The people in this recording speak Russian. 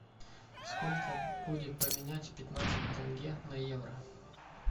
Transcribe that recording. сколько будет поменять пятнадцать тенге на евро